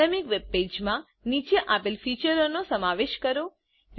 dynamic web પેજમા નીચે આપેલ ફીચરોનો સમાવેશ કરો